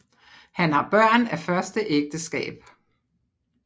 Han har Børn af første Ægteskab